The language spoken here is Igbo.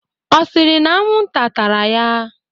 Ọ sịrị na anwụnta tara ya?